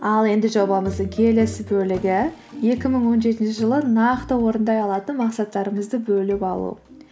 ал енді жобамыздың келесі бөлігі екі мың он жетінші жылы нақты орындай алатын мақсаттарымызды бөліп алу